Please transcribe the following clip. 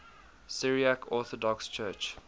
syriac orthodox church